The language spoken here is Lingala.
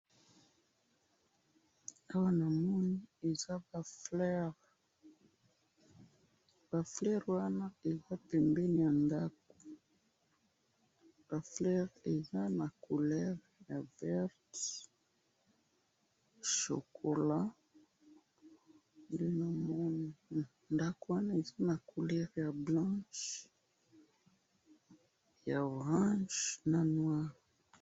awa namoni eza ba fleur, ba fleur wana eza pembeni ya ndaku ba fleur eza na couleur ya verte , chocolat nde namoni ndaku wana eza na couleur ya blanche ya orange na noir